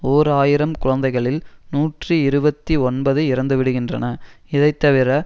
ஓர் ஆயிரம் குழந்தைகளில் நூற்றி இருபத்தி ஒன்பது இறந்துவிடுகின்றன இதைத்தவிர